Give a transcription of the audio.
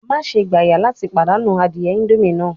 Maṣe gbaya lati padanu adie indomie naa